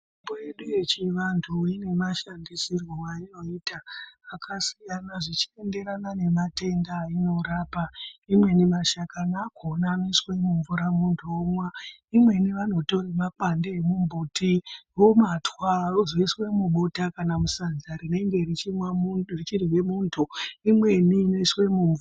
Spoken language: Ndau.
Yedu yechiantu inemashanisirwe ainoita akasiyana zvichienderana nematenda ainorapa imweni mashakani akhona anoiswe mumvura muntu omwa imweni anotore mapande emumbuti omatwa vozoiswe mubota kana musadza rinenge richimwe mu richirye muntu imweni inoiswe mumvu..